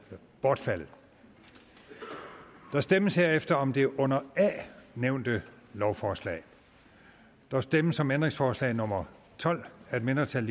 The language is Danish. bortfaldet der stemmes herefter om det under a nævnte lovforslag der stemmes om ændringsforslag nummer tolv af et mindretal